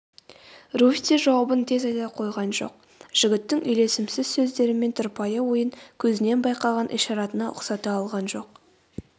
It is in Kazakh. руфь те жауабын тез айта қойған жоқ жігіттің үйлесімсіз сөздері мен тұрпайы ойын көзінен байқаған ишаратына ұқсата алған жоқ